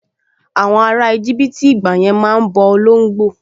Àwọn ará íjíbítì ìgbàyẹn máa n bọ olóngbò